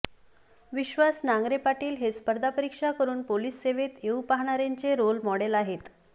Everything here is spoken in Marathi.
विश्वास नांगरे पाटील हे स्पर्धा परीक्षा करुन पोलीस सेवेत येऊ पाहणाऱ्यांचे रोल मॉडेल आहेत